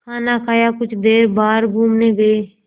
खाना खाया कुछ देर बाहर घूमने गए